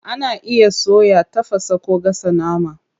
Ana iya soya, tafasa, ko gasa nama.